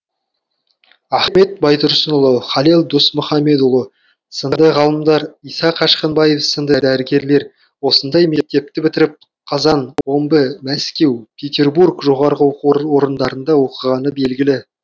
ахмет байтұрсынұлы халел досмұхамедұлы сынды ғалымдар иса қашқынбаев сынды дәрігерлер осындай мектепті бітіріп қазан омбы мәскеу петербург жоғары оқу орындарында оқығаны белгілі